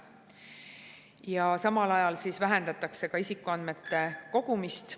Ja samal ajal vähendatakse isikuandmete kogumist.